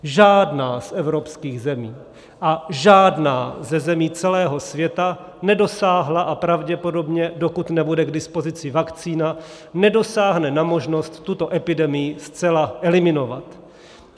Žádná z evropských zemí a žádná ze zemí celého světa nedosáhla a pravděpodobně, dokud nebude k dispozici vakcína, nedosáhne na možnost tuto epidemii zcela eliminovat.